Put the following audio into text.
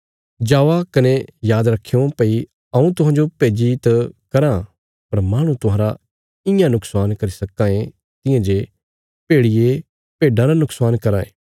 जावा कने याद रखयों भई हऊँ तुहांजो भेज्जी त कराँ पर माहणु तुहांरा इयां नुक्शान करी सक्कां ये तियां जे भेड़िये भेडां रा नुक्शान कराँ ये